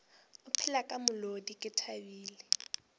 opela ka molodi ke thabile